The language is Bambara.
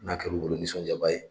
N'a kɛr'u bolo nisɔndiyaba ye.